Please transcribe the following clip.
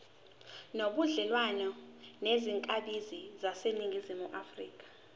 nobudlelwane nezakhamizi zaseningizimu